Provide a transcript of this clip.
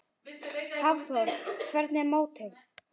Hafþór: Hvernig er mótið?